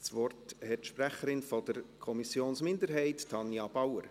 Das Wort hat die Sprecherin der Kommissionsminderheit, Tanja Bauer.